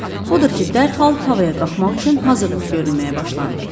Odur ki, dərhal havaya qalxmaq üçün hazırlıq görülməyə başlandı.